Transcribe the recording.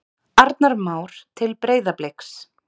Arnar Már til Breiðabliks